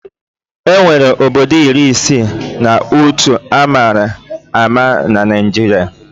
Enwere obodo iri isii na otu a ma ama na Naijiria